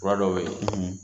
Fura dɔw bɛ yen